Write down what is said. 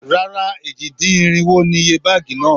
Rárá, èjì-dín-irinwo ni iye báàgì náà.